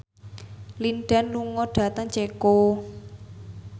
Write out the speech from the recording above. Lin Dan lunga dhateng Ceko